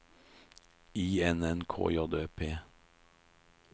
I N N K J Ø P